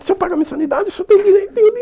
O senhor paga a mensalidade, o senhor tem direito. E